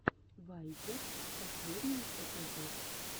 вайпер последний эпизод